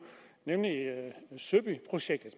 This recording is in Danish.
nemlig søbyprojektet